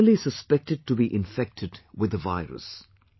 They are merely suspected to be infected with the virus